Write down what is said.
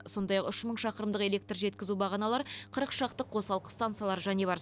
сондай ақ үш мың шақырымдық электр жеткізу бағаналары қырық шақты қосалқы станциялары және бар